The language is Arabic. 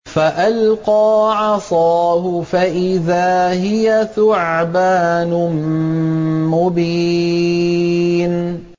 فَأَلْقَىٰ عَصَاهُ فَإِذَا هِيَ ثُعْبَانٌ مُّبِينٌ